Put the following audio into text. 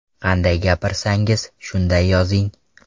Qanday gapirsangiz, shunday yozing .